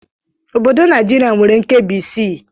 Obodo Naijiria nwere nkebi isii